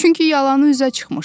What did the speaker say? Çünki yalanı üzə çıxmışdı.